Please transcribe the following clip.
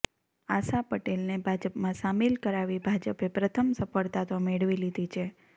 આશા પટેલને ભાજપમાં સામિલ કરાવી ભાજપે પ્રથમ સફળતા તો મેળવી લીધી છે